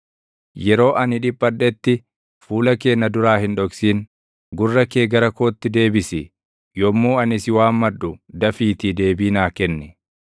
Yeroo ani dhiphadhetti, fuula kee na duraa hin dhoksin. Gurra kee gara kootti deebisi; yommuu ani si waammadhu dafiitii deebii naa kenni.